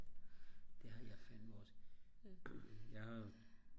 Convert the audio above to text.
det har jeg fandme også jeg har jo